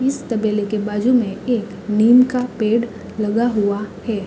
इस तबेले के बाजू में एक नीम का पेड़ लगा हुआ है।